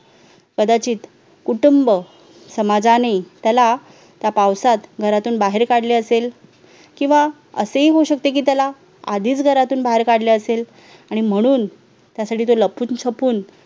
कदाचित कुटुंब, समाजाने त्याला त्या पावसात घरातून बाहेर काढले असेल किंवा असेही होऊ शकते की त्याला आधीच घरातून बाहेर काढले असेल आणि म्हणून त्यासाठी तो लपून छपून